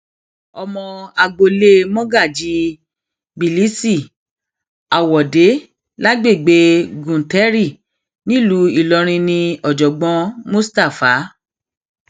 ọmọ agboolé mogaji kbilisi awọde lágbègbè güntheri nílùú ìlorin ní ọjọgbọn mustapha